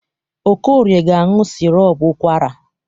Okorie ga-aṅụ sirop ụkwara.